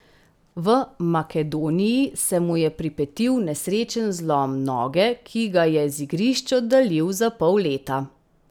V Makedoniji se mu je pripetil nesrečen zlom noge, ki ga je z igrišč oddaljil za pol leta.